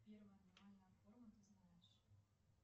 первая аномальная форма ты знаешь